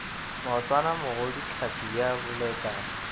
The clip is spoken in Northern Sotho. maotwana mogodu tlhapi ya bolekana